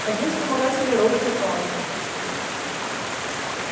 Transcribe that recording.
один вспомогательный робот упал